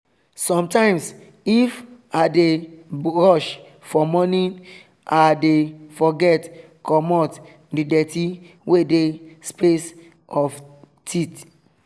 sometimes if i dey rush for morning i dey forget commot the dirty wey dey space of teeth